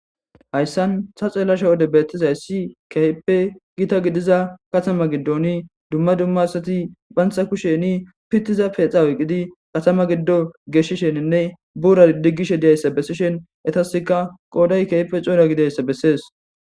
Haysan ta xelashe wode betizaysi kehipe gita gidiza katama gidon duma duma asati banta kusheni pitiza pedha oykidi Katama gido geshisheninne buraza digishe dizaysa besishen etasika qoday kehipe c'ora gidizaysa beses.